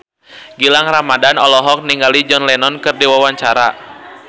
Gilang Ramadan olohok ningali John Lennon keur diwawancara